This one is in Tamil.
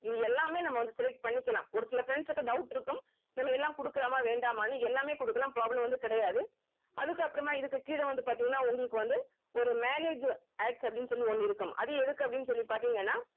இது எல்லாமே நம்ம வந்து select பண்ணிக்கலாம் ஒரு சில friends க்கு doubt இருக்கும் நம்ம எல்லாம் குடுக்கலாமா வேண்டாமான்னு எல்லாமே குடுக்கலாம் problem வந்து கிடையாது அதுக்கு அப்புறமா இதுக்கு கீழ வந்து பாத்தீங்கன்னா உங்களுக்கு வந்து ஒரு manage adds அப்படின்னு சொல்லி ஒண்ணு இருக்கும் அது எதுக்குன்னு அப்படின்னு சொல்லி பாத்தீங்கன்னா